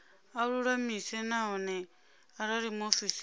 a lulamise nahone arali muofisiri